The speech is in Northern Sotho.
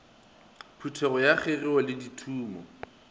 phekgogo ya kgegeo le dithumo